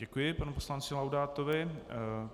Děkuji panu poslanci Laudátovi.